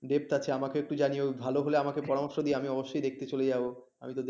depth আছে আমাকে একটু জানিও ভালো হলে আমাকে পরামর্শ দিয়ে আমি অবশ্যই দেখতে চলে যাব। আমি তো দেখি এ ।